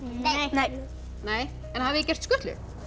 nei nei en hafið þið gert skutlu